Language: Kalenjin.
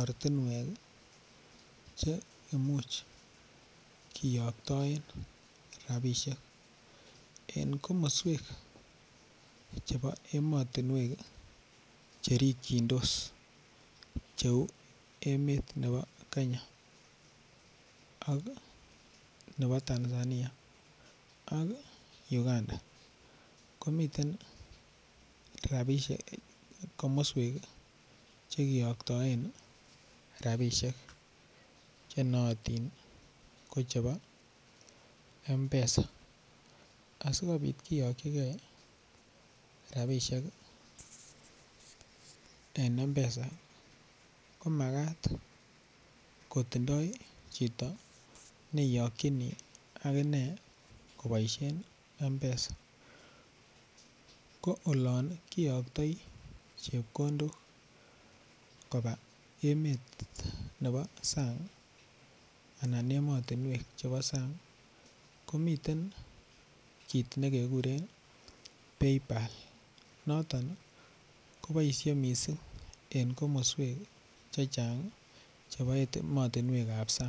ortinwek che imuch kiyoktoen ropishek eng komoswek chebo emotinwek cherikchindos cheu emet nebo Kenya ak nebo Tanzania ak Uganda komiten komoswek chekeyoktoen ropishek che noyotin kochepo mpesa asikopit keyokchigei rapishek en mpesa komakat kotindoi chito neiyokchini akine koboishen mpesa ko olon kiyoktoi chepkondok koba emet nebo sang anan emotunwek chebo sang komiten kiit nekekuren PayPal noton koboishe mising eng komoswek che chang chebo emotunwek ap sang.